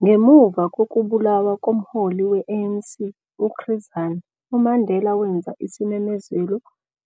Ngemuva kokubulawa komholi we-ANC u-Chris Hani, uMandela wenza isimemezelo